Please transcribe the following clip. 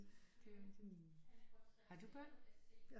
Det er rigtigt har du børn